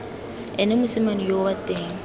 ene mosimane yoo wa teng